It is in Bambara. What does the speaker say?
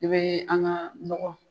I be an ga nɔkɔ